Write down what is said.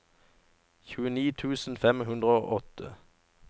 tjueni tusen fem hundre og åtti